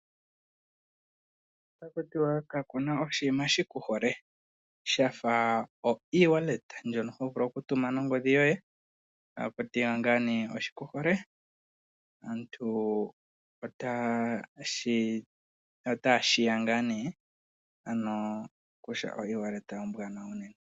Otakutiwa kakuna oshiima shiku hole shafa o ewallet ndjono ho vulu oku tuma nongodhi yoye, takutiwa ngaa nee oshiku hole. Aantu otaya sheya ngaa nee ano kutya o ewallet ombwaanawa unene.